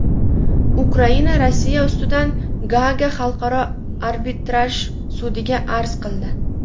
Ukraina Rossiya ustidan Gaaga Xalqaro arbitraj sudiga arz qildi.